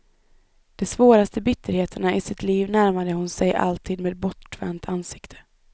De svåraste bitterheterna i sitt liv närmade hon sig alltid med bortvänt ansikte.